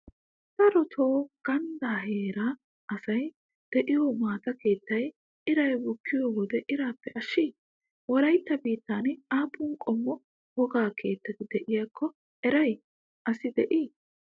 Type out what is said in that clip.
Daroto ganddaa heeraa asay de'iyo maata keettay iray bukkiyo wode iraappe ashshii? Wolaytta biittan aappun qommo wogaa keettati de'iyaakko eriya asi de"ii?